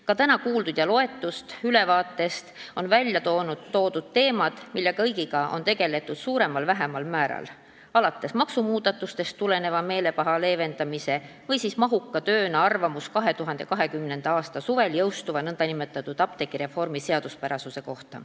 Ka täna kuuldud ülevaates on välja toodud teemad, mille kõigega on suuremal või vähemal määral tegeletud, alates maksumuudatustest tuleneva meelepaha leevendamisega ja lõpetades mahuka tööga seoses sellega, et tuli anda arvamus 2020. aasta suvel jõustuva nn apteegireformi seaduspärasuse kohta.